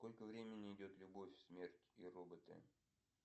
сколько времени идет любовь смерть и роботы